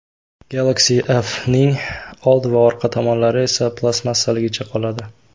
Galaxy F’ning old va orqa tomonlari esa plastmassaligicha qoladi.